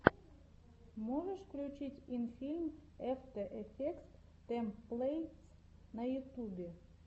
можешь включить инфилм эфтэ эфектс тэмплэйтс на ютубе